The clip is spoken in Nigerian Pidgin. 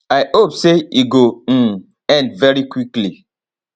i hope say e go um end very quickly